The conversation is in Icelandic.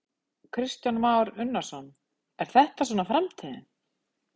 Kristján Már Unnarsson: Er þetta svona framtíðin?